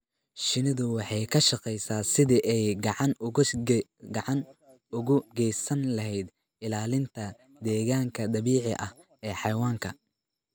Shinnidu waxay ka shaqeysaa sidii ay gacan uga geysan lahayd ilaalinta deegaanka dabiiciga ah ee xayawaanka.